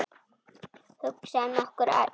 Hugsa um okkur öll.